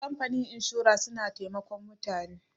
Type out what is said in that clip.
kamfanin inshora suna taimakon mutane